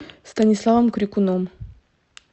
станиславом крикуном